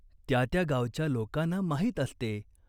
"त्या त्या गावच्या लोकांना माहीत असते.